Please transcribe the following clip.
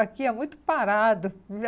Aqui é muito parado.